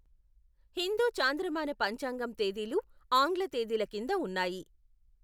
హిందూ చాంద్రమాన పంచాంగం తేదీలు ఆంగ్ల తేదీల కింద ఉన్నాయి.